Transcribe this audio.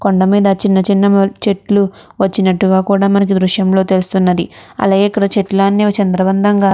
కొండమీద చిన్న చిన్న మో చెట్లు వచ్చినట్టుగా కూడా మనకి ఈ దృశ్యంలో తెలుస్తుంది. అలాగే ఇక్కడ చెట్లన్నీ చిందరవందరగా --